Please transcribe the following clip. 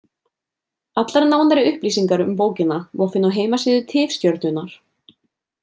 Allar nánari upplýsingar um bókina má finna á heimasíðu Tifstjörnunnar.